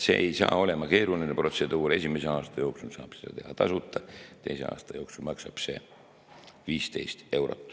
See ei saa olema keeruline protseduur, esimese aasta jooksul saab seda teha tasuta, teise aasta jooksul maksab see 15 eurot.